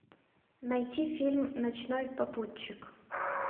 найти фильм ночной попутчик